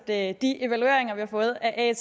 at de evalueringer vi har fået af at